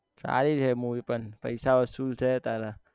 સારી છે movie પણ પૈસા વસુલ છે તારા